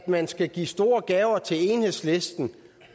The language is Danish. man skulle give store gaver til enhedslisten